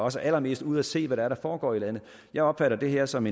også er allermest ude at se hvad det er der foregår i landet jeg opfatter det her som